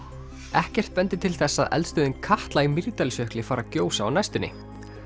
ekkert bendir til þess að eldstöðin Katla í Mýrdalsjökli fari að gjósa á næstunni